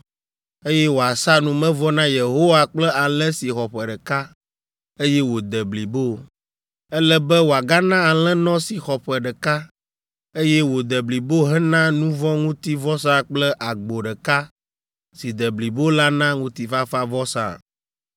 eye wòasa numevɔ na Yehowa kple alẽ si xɔ ƒe ɖeka, eye wòde blibo. Ele be wòagana alẽnɔ si xɔ ƒe ɖeka, eye wòde blibo hena nu vɔ̃ ŋuti vɔsa kple agbo ɖeka si de blibo la na ŋutifafavɔsa.